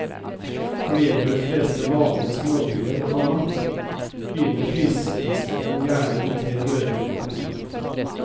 Når det gjelder de fleste vanlige småbiler, komma begynner prislistene gjerne med tre dører. punktum